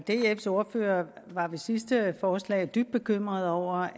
dfs ordfører var ved sidste forslag dybt bekymret over